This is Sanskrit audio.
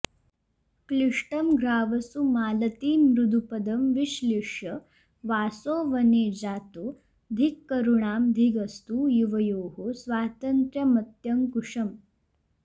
क्लिष्टं ग्रावसु मालतीमृदुपदं विश्लिष्य वासो वने जातो धिक्करुणां धिगस्तु युवयोः स्वातन्त्र्यमत्यङ्कुशम्